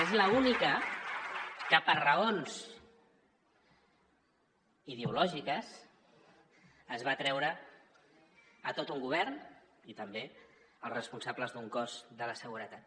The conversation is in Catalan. és l’única amb què per raons ideològiques es va treure a tot un govern i també als responsables d’un cos de la seguretat